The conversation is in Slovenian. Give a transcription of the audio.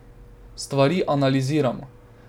Stvari analiziramo.